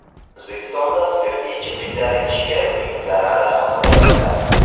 O‘zbekistonda spirtli ichimliklar idishiga uning zarari haqida yoziladi .